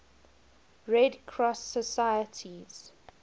red cross societies